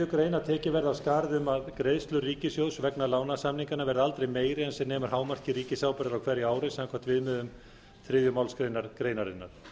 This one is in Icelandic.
að tekið verði af skarið um að greiðsluskylda ríkissjóðs vegna lánasamninganna verði aldrei meiri en sem nemur hámarki ríkisábyrgðar á hverju ári samkvæmt viðmiðum þriðju málsgrein greinarinnar